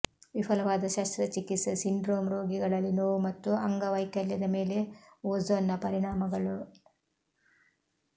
ವಿಫಲವಾದ ಶಸ್ತ್ರಚಿಕಿತ್ಸೆ ಸಿಂಡ್ರೋಮ್ ರೋಗಿಗಳಲ್ಲಿ ನೋವು ಮತ್ತು ಅಂಗವೈಕಲ್ಯದ ಮೇಲೆ ಓಝೋನ್ನ ಪರಿಣಾಮಗಳು